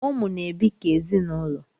Ụmụ na-ebi ka ezinụlọ